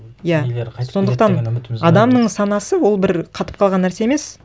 иә сондықтан адамның санасы ол бір қатып қалған нәрсе емес